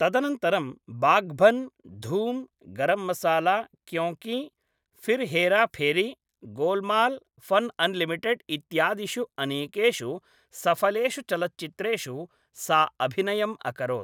तदनन्तरं Baghban, Dhoom, Garam Masala, Kyonki, Phir Hera Pheri, Golmaal fun unlimited इत्यादिषु अनेकेषु सफलेषु चलच्चित्रेषु सा अभिनयम् अकरोत् ।